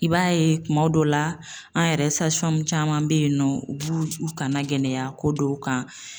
I b'a ye kuma dɔ la an yɛrɛ caman bɛ yen nɔ u b'u kana gɛlɛya ko dɔw kan.